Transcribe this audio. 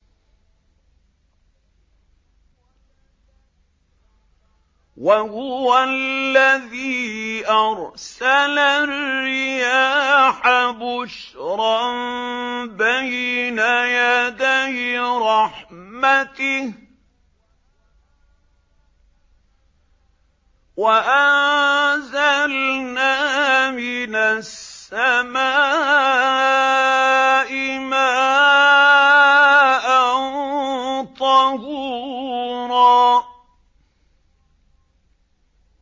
وَهُوَ الَّذِي أَرْسَلَ الرِّيَاحَ بُشْرًا بَيْنَ يَدَيْ رَحْمَتِهِ ۚ وَأَنزَلْنَا مِنَ السَّمَاءِ مَاءً طَهُورًا